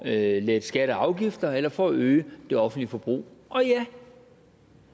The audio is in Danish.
at lette skatter og afgifter eller for at øge det offentlige forbrug og ja